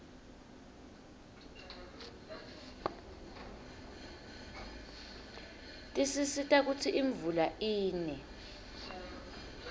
tisisita kutsi imvula ine